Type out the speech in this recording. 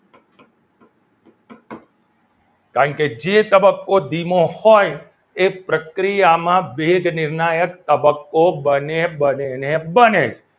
કારણ જે તબક્કો ધીમો હોય એ પ્રક્રિયામાં વેગ નિર્ણાયક તબક્કો બને બને ને બને